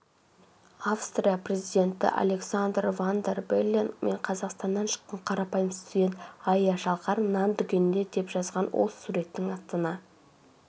австрия президентіалександр ван дер беллен мен қазақстаннан шыққан қарапайым студент айя шалқар нан дүкенінде деп жазған ол суреттің астына